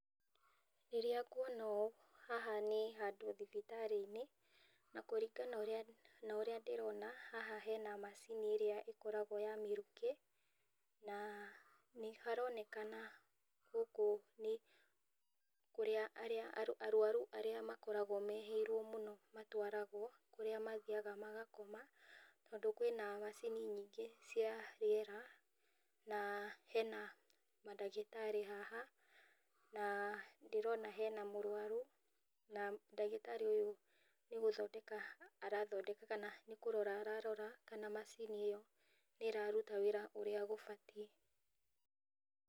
Rĩrĩa ngwona ũũ, haha nĩ handũ thibitarĩ-inĩ na kũringana na ũrĩa ndĩrona haha hena macini ĩrĩa ĩkoragwo ya mĩrukĩ na nĩ haronekana gũkũ nĩ kũrĩa arwaru arĩa makoragwo mehĩirwo mũno matwaragwo kũrĩa mathiaga magakoma tondũ kwĩna macini nyingĩ cia rĩera na hena mandagĩtarĩ haha na ndĩrona, na hena mũrwaru na ndagĩtarĩ ũyũ nĩ gũthondeka arathondeka kana nĩ kũrora ararora kana macini ĩno nĩ raruta wĩra ũrĩa gũbatie.